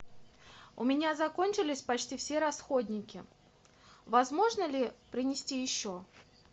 у меня закончились почти все расходники возможно ли принести еще